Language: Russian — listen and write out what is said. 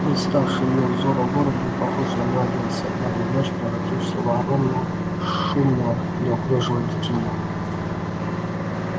представший её взору город был похож на младенца в одну ночь превратившегося в огромного шумного неуклюжего детину